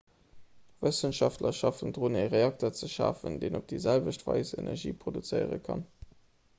wëssenschaftler schaffen drun e reakter ze schafen deen op déi selwecht weis energie produzéiere kann